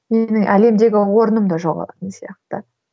менің әлемдегі орным да жоғалатын сияқты